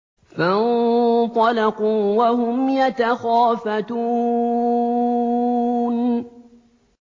فَانطَلَقُوا وَهُمْ يَتَخَافَتُونَ